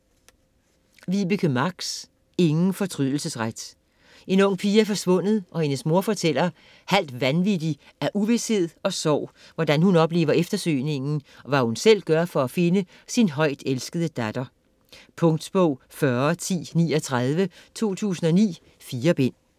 Marx, Vibeke: Ingen fortrydelsesret En ung pige er forsvundet, og hendes mor fortæller, halvt vanvittig af uvished og sorg, hvordan hun oplever eftersøgningen, og hvad hun selv gør for at finde sin højtelskede datter. Punktbog 401039 2009. 4 bind.